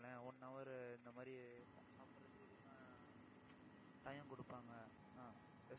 one hour இந்த மாதிரி, சாப்பிடுறதுக்கு எதுனா time கொடுப்பாங்க என்ன